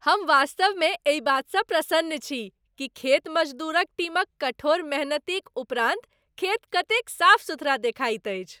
हम वास्तवमे एहि बातसँ प्रसन्न छी कि खेत मजदूरक टीमक कठोर मेहनतिक उपरान्त खेत कतेक साफ सुथरा देखाइत अछि।